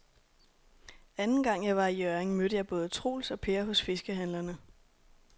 Anden gang jeg var i Hjørring, mødte jeg både Troels og Per hos fiskehandlerne.